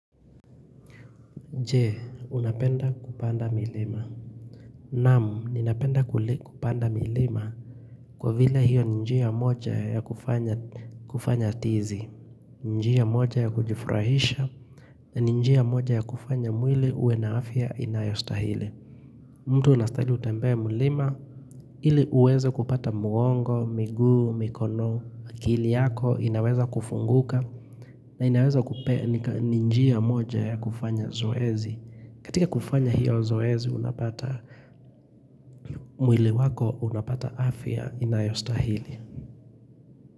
Je, unapenda kupanda milima. Naam, ninapenda kupanda milima kwa vile hiyo ni njia moja ya kufanya tizi. Ni njia moja ya kujifurahisha. Ni njia moja ya kufanya mwili uwe na afya inayostahili. Mtu unastahili utembee mlima. Ile uweze kupata mwongo, miguu, mikono, akili yako. Inaweza kufunguka. Na inaweza kupeya ni njia moja ya kufanya zoezi. Katika kufanya hiyo zoezi unapata mwili wako unapata afya inayostahili.